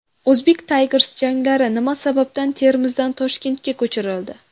Uzbek Tigers janglari nima sababdan Termizdan Toshkentga ko‘chirildi?